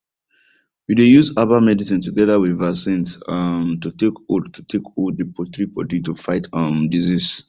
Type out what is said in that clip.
we dey use herbal medicine together with vaccines um to take hold to take hold the poultry body to fight um disease